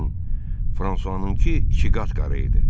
Lakin Fransuanınkı ikiqat qara idi.